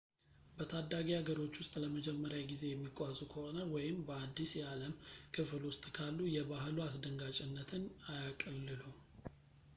በታዳጊ ሀገሮች ውስጥ ለመጀመሪያ ጊዜ የሚጓዙ ከሆነ ወይም በአዲስ የዓለም ክፍል ውስጥ ካሉ የባህሉ አስደንጋጭነትን አያቅልሉ